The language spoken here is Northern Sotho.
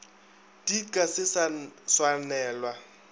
di ka se sa swanelwa